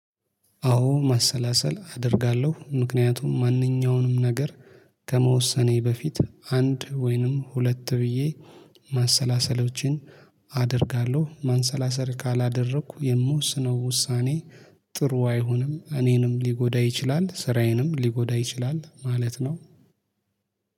አዎ ማሰላሰል አደርጋለሁ ምክንያቱም ማንኛውንም ነገር ከመወሰኔ በፊት አንድ ወይንም ሁለት ብዬ ማሰላሰሎችን አደርጋለሁ። ማንሰላሰል ካላደረኩ የምወስነው ውሳኔ ጥሩ አይሆንም። እኔንም ሊጎዳ ይችላል ስራዬንም ሊጎዳ ይችላል። ማለት ነው።